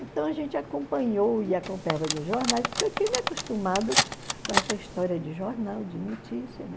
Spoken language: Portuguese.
Então a gente acompanhou e acompanhava nos jornais, porque eu tinha me acostumado com essa história de jornal, de notícia, né?